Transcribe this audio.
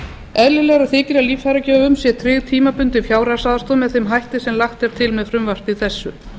eðlilegra þykir að líffæragjöfum sé tryggð tímabundin fjárhagsaðstoð með þeim hætti sem lagt er til með frumvarpi þessu